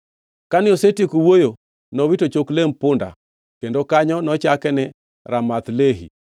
Kane osetieko wuoyo, nowito chok lemb punda; kendo kanyo nochaki ni Ramath Lehi.